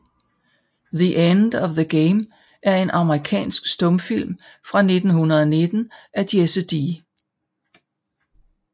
The End of the Game er en amerikansk stumfilm fra 1919 af Jesse D